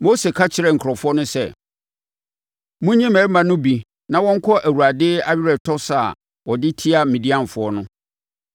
Mose ka kyerɛɛ nkurɔfoɔ no sɛ, “Monyi mmarima no mu bi na wɔnkɔ Awurade aweretɔ sa a ɔde tia Midianfoɔ no.